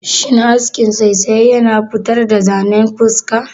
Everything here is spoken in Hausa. Shin askin saisaye yana futar da zanen fuska?